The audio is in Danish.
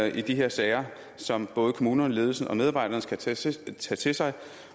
i de her sager som både kommunerne ledelsen og medarbejderne skal tage til til sig